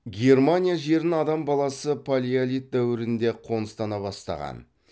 германия жерін адам баласы палеолит дәуірінде ақ қоныстана бастаған